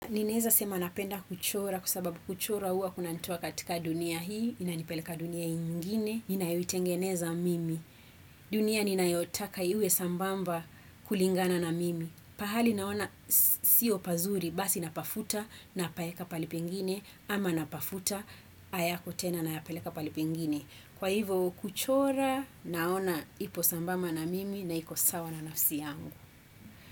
Ninaeza sema napenda kuchora kwa sababu kuchora huwa kunanitoa katika dunia hii, inanipeleka dunia ingine, ninayoitengeneza mimi. Dunia ninayotaka iwe sambamba kulingana na mimi. Pahali naona siyo pazuri basi napafuta napaeka pahali pengine ama napafuta hayako tena nayapeleka pahali pengine. Kwa hivo kuchora naona ipo sambamba na mimi na iko sawa na nafsi yangu.